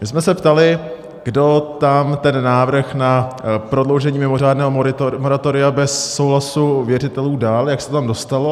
My jsme se ptali, kdo tam ten návrh na prodloužení mimořádného moratoria bez souhlasu věřitelů dal, jak se to tam dostalo.